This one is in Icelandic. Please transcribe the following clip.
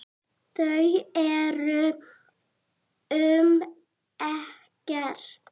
Þau eru um Ekkert.